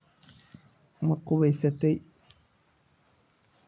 ma qubaysatay